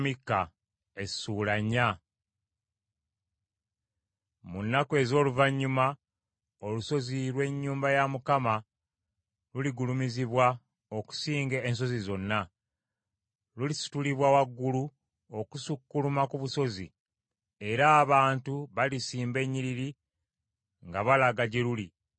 Mu nnaku ez’oluvannyuma olusozi lw’ennyumba ya Mukama luligulumizibwa okusinga ensozi zonna; lulisitulibwa waggulu okusukkuluma ku busozi, era abantu balisimba ennyiriri nga balaga gye luli.